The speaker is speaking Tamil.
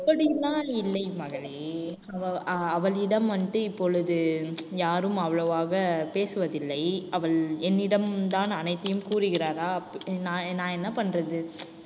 அப்படியெல்லாம் இல்லை மகளே ஆஹ் அவளிடம் வந்து இப்பொழுது யாரும் அவ்வளவாக பேசுவதில்லை அவள் என்னிடம்தான் அனைத்தையும் கூறுகிறாரா நான் நான் என்ன பண்றது?